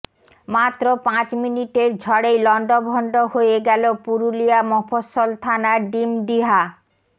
মাত্র পাঁচ মিনিটের ঝড়েই লন্ডভন্ড হয়ে গেল পুরুলিয়া মফস্সল থানার ডিমডিহা